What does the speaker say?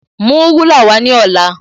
Mú rúlà wá ní ọ̀la